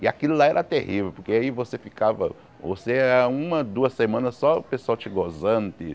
E aquilo lá era terrível, porque aí você ficava você ia uma, duas semanas só o pessoal te gozando de.